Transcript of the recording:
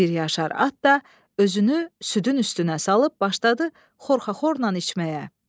Bir yaşar at da özünü südün üstünə salıb başladı xorxaxornan içməyə.